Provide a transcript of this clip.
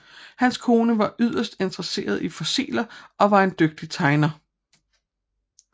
Hans kone var yderst interesseret i fossiler og var en dygtig tegner